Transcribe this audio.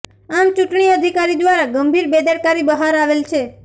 આમ ચૂંટણી અધિકારી દ્વારા ગંભીર બેદરકારી બહાર આવેલ છે